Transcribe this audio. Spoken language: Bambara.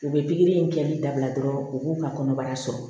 U bɛ pikiri in kɛli dabila dɔrɔn u b'u ka kɔnɔbara sɔrɔ